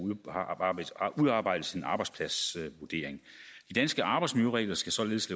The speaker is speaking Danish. udarbejdes en arbejdspladsvurdering de danske arbejdsmiljøregler skal således